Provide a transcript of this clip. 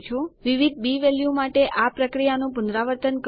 વિવિધ B value માટે આ પ્રક્રિયાનું પુનરાવર્તન કરો